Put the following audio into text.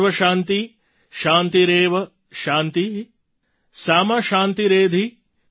સર્વશાન્તિ શાન્તિરેવ શાન્તિ સા મા શાન્તિરેધિ